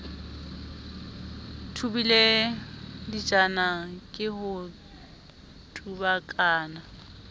thubile dijana ke ho dubakana